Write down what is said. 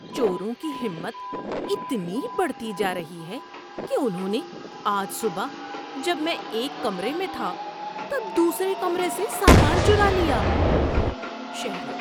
چوروں کی ہمت اتنی بڑھتی جا رہی ہے کہ انہوں نے آج صبح جب میں ایک کمرے میں تھا تب دوسرے کمرے سے سامان چرا لیا۔ (شہری)